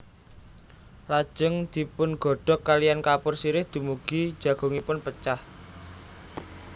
Lajeng dipungodhog kaliyan kapur sirih dumugi jagungipun pecah